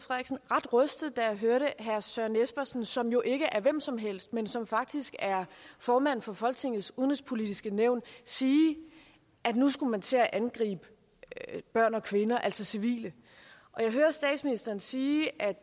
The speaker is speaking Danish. ret rystet da jeg hørte herre søren espersen som jo ikke er hvem som helst men som faktisk er formand for folketingets udenrigspolitiske nævn sige at nu skulle man til at angribe børn og kvinder altså civile og jeg hører statsministeren sige at